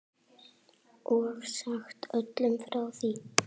Og sagt öllum frá því.